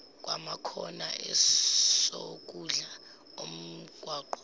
kwamakhona esokudla omgwaqo